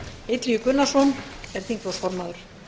illugi gunnarsson er þingflokksformaður